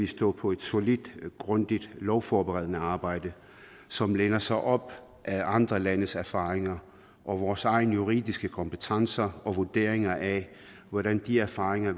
stå på et solidt og grundigt lovforberedende arbejde som læner sig op ad andre landes erfaringer og vores egne juridiske kompetencer og vurderinger af hvordan de erfaringer